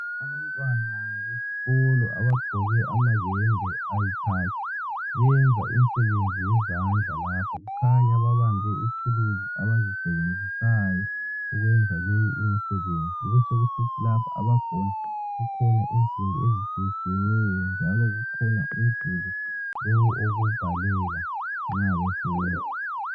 Abantwana besikolo abagqoke amayembe ayikhakhi benza imsebenzi yezandla lapha kukhanya babambe ithuluzi abazisebenzisayo ukwenza leyi imisebenzi, besokusithi lapha abakhona kukhona insimbi ezitshiye tshiyeneyo njalo kukhona umduli wokubhalela nxa befunda.